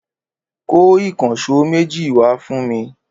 Kó ìkànṣó méjì wá fún mi!